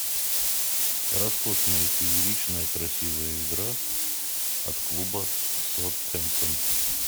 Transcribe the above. роскошная фееричная красивая игра от клуба саутгемптон